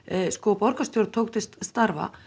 borgarstjórn tók til starfa